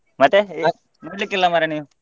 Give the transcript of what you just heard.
ಮತ್ತೆ ನೋಡ್ಲಿಕ್ಕಿಲ್ಲ ಮಾರ್ರೆ ನೀನ್?